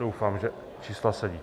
Doufám, že čísla sedí.